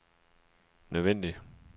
nødvendig